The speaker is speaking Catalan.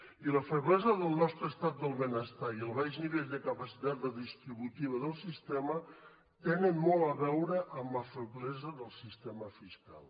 i la feblesa del nostre estat del benestar i el baix nivell de capacitat redistributiva del sistema tenen molt a veure amb la feblesa del sistema fiscal